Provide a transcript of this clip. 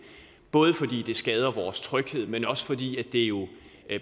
både fordi det skader vores tryghed men også fordi det jo